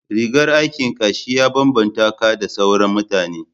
rigar aikin ka shi ya babbanta ka da sauran mutane